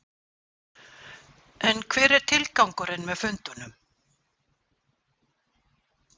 En hver er tilgangurinn með fundunum?